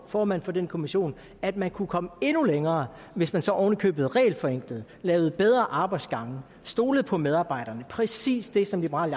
formand for den kommission at man kunne komme endnu længere hvis man så oven i købet regelforenklede lavede bedre arbejdsgange stolede på medarbejderne præcis det som liberal